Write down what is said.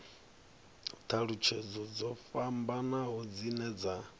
thalutshedzo dzo fhambanaho dzine dza